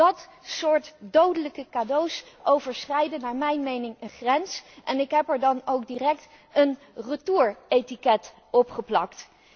Dat soort dodelijke cadeaus overschrijden naar mijn mening een grens en ik heb er dan ook direct een retouretiket opgeplakt.